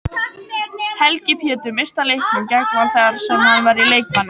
Helgi Pétur missti af leiknum gegn Val þar sem hann var í leikbanni.